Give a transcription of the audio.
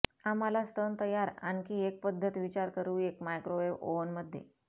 आम्हाला स्तन तयार आणखी एक पद्धत विचार करू एक मायक्रोवेव्ह ओव्हन मध्ये